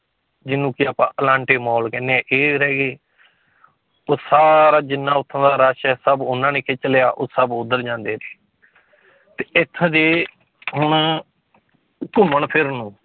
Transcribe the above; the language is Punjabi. ਜਿਹਨੂੰ ਕਿ ਆਪਾਂ ਅਲਾਂਟੇ ਮਾਲ ਕਹਿੰਦੇ ਹਾਂ ਇੱਕ ਇਹ ਰਹਿ ਗਏ ਉਹ ਸਾਰਾ ਜਿੰਨਾ ਉੱਥੋਂ ਦਾ rush ਹੈ ਸਭ ਉਹਨਾਂ ਨੇ ਖਿੱਚ ਲਿਆ, ਉਹ ਸਭ ਉੱਧਰ ਜਾਂਦੇ ਨੇ ਤੇ ਇੱਥੋਂ ਦੇ ਹੁਣ ਘੁੰਮਣ ਫਿਰਨ ਨੂੰ